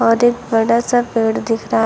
और एक बड़ा सा पेड़ दिख रहा--